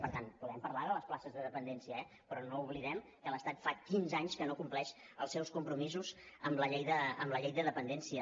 per tant podem parlar de les places de dependència eh però no oblidem que l’estat fa quinze anys que no compleix els seus compromisos amb la llei de dependència